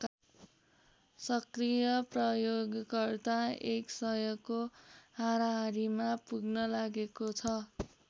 सक्रिय प्रयोगकर्ता एक सयको हाराहारीमा पुग्न लागेको छ।